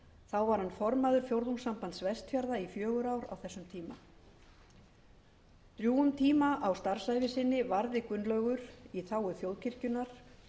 þá var hann formaður fjórðungssambands vestfjarða í fjögur ár á þessum tíma drjúgum tíma af starfsævi sinni varði gunnlaugur í þágu þjóðkirkjunnar